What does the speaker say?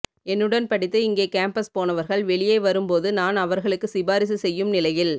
என்னுடன் படித்து இங்கே கேம்பஸ் போனவர்கள் வெளியே வரும்போது நான் அவர்களுக்கு சிபாரிசு செய்யும் நிலையில்